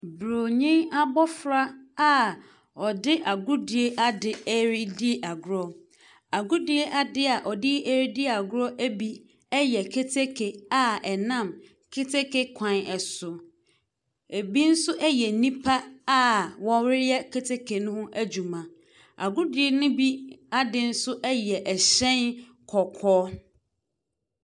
Buronyi abofra a ɔde agodie adeɛ redi agorɔ. Agodie adeɛ ɔde redi agorɔ bi yɛ kete a ɛnam keteke kwan so. Ebi nso yɛ nipa a wɔreyɛ keteke no ho adwuma. Agodi no ho ade no bi yɛ hyɛn kɔkɔɔ.